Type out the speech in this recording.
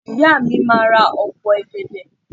Ìyá mi máà ra opo ọ̀gẹ̀dẹ̀.